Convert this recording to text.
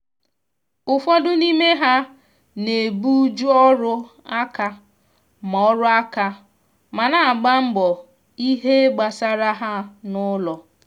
ụfọdụ n'ime ha na ebu ju ọrụ aka ma ọrụ aka ma na agba mbọ ìhè gbasara ha na ụlọ